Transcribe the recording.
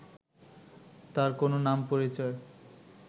তার কোনো নাম পরিচয়